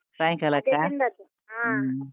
.